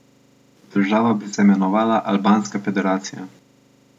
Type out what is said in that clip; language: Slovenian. Država bi se imenovala Albanska federacija.